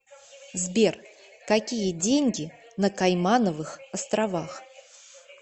сбер какие деньги на каймановых островах